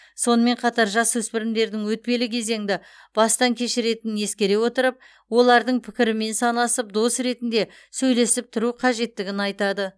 сонымен қатар жасөспірімдердің өтпелі кезеңді бастан кешіретінін ескере отырып олардың пікірімен санасып дос ретінде сөйлесіп тұру қажеттігін айтады